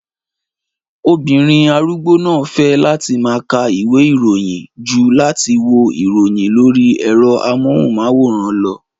Obìnrin arúgbó náà fẹ́ láti máa ka ìwé ìròyìn ju láti wo ìròyìn lórí ẹ̀rọ amóhùnmáwòrán lọ